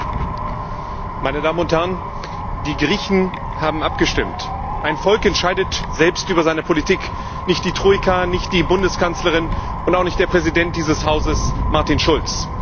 Herr Präsident, meine Damen und Herren! Die Griechen haben abgestimmt. Ein Volk entscheidet selbst über seine Politik, nicht die Troika, nicht die Bundeskanzlerin und auch nicht der Präsident dieses Hauses, Martin Schulz.